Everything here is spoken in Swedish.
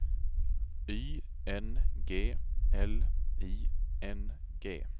Y N G L I N G